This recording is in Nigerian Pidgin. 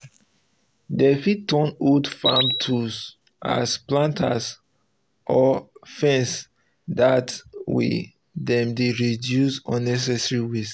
dem fit um turn old farm tools as planters um or fencers dat dat way dem dey reduce um unnecessary waste